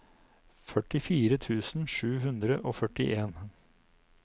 førtifire tusen sju hundre og førtien